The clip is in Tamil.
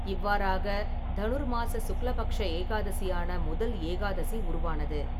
இவ்வாறாக, தனுர்மாச சுக்ல பக்ஷ ஏகாதசியான முதல் ஏகாதசி உருவானது.